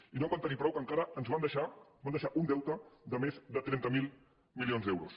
i no en van tenir prou que encara van deixar un deute de més de trenta miler milions d’euros